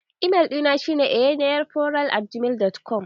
Email ɗina shi ne eneyeforall@gmail.com